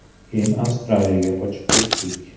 Keyin Avstraliyaga ko‘chib keldik.